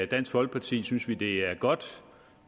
dansk folkepartis synes vi det er godt